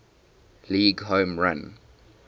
league home run